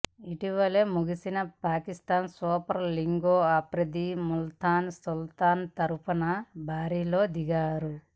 ఇటీవలే ముగిసిన పాకిస్థాన్ సూపర్ లీగ్లో ఆఫ్రిదీ ముల్తాన్ సుల్తాన్ తరఫున బరిలో దిగాడు